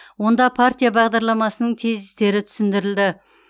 онда партия бағдарламасының тезистері түсіндірілді